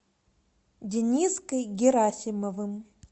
дениской герасимовым